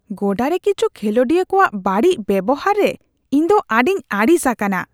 ᱜᱚᱰᱟᱨᱮ ᱠᱤᱪᱷᱩ ᱠᱷᱮᱞᱳᱰᱤᱭᱟᱹ ᱠᱚᱣᱟᱜ ᱵᱟᱹᱲᱤᱡ ᱵᱮᱵᱚᱦᱟᱨ ᱨᱮ ᱤᱧ ᱫᱚ ᱟᱹᱰᱤᱧ ᱟᱹᱲᱤᱥ ᱟᱠᱟᱱᱟ ᱾